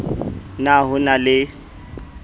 p na ho na le